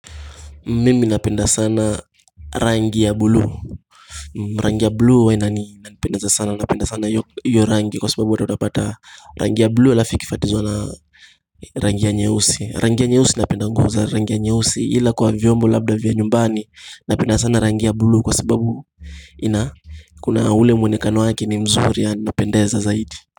Mimi napenda sana rangi ya bulu Rangi ya bluu huwa inanipendeza sana napenda sana hiyo rangi kwa sababu watu watapata rangi ya bluu halafu ifikifuatizwa na rangi ya nyeusi. Rangi ya nyeusi napenda ngup za rangi ya nyeusi ila kwa vyombo labda vya nyumbani napenda sana rangi ya bluu kwa sababu ina kuna ule mwonekano wake ni mzuri yaani unapendeza zaidi.